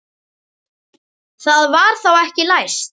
Það var þá ekki læst!